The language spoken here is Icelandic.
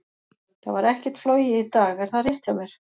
Það var ekkert flogið í dag, er það rétt hjá mér?